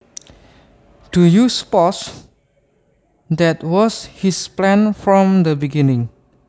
Do you suppose that was his plan from the beginning